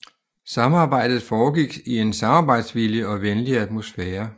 Samarbejdet foregik i en samarbejdsvillig og venlig atmosfære